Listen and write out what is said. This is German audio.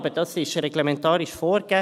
Aber das ist reglementarisch vorgegeben.